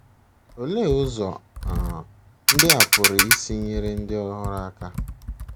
Olee ụzọ um ndị a pụrụ isi nyere ndị ọhụrụ aka?